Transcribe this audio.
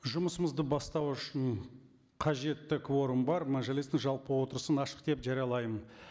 жұмысымызды бастау үшін қажетті кворум бар мәжілістің жалпы отырысын ашық деп жариялаймын